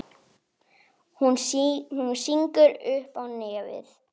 Hún sýgur upp í nefið.